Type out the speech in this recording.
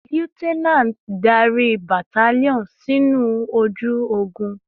Lieutenant, darí battalion sinu oju ogun!